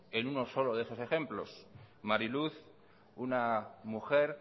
en uno solo de esos ejemplos mari luz una mujer